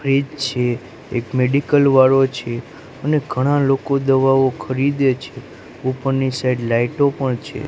Fridge છે એક medical વાળો છે અને ઘણા લોકો દવાઓ ખરીદે છે ઉપરની સાઈડ લાઈટો પણ છે.